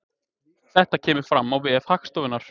Þetta kemur fram á vef Hagstofunnar